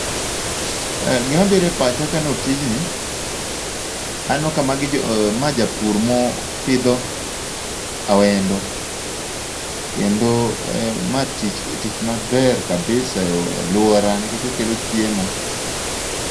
Gima bire pacha kaneno tijni, aneno ka magi jo ma japur mo pidho awendo. Kendo ma tich tich ma ber kabisa e alwora nikech okelo chiemo.